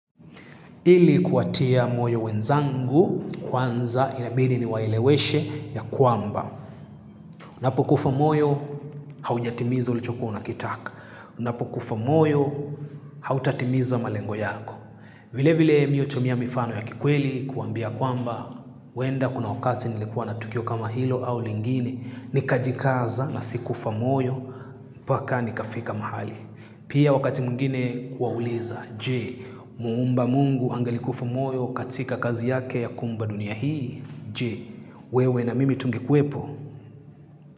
Ili kuwatia moyo wenzangu kwanza inabidi ni waeleweshe ya kwamba. Unapokufa moyo, haujatimiza ulichokuwa unakitaka. Unapokufa moyo, hautatimiza malengo yako. Vile vile mimi hutumia mifano ya kikweli kuwaambia kwamba, huenda kuna wakati nilikuwa na tukio kama hilo au lingine, nikajikaza na sikufa moyo, mpaka nikafika mahali. Pia wakati mwingine kuwauliza, je, muumba mungu angalikufa moyo, katika kazi yake ya kuumba dunia hii. Je, wewe na mimi tungekuepo.